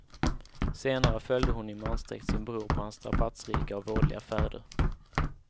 Senare följde hon i mansdräkt sin bror på hans strapatsrika och vådliga färder.